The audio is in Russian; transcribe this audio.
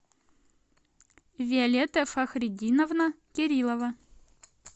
виолетта фахридиновна кириллова